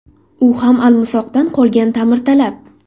U ham almisoqdan qolgan, ta’mirtalab.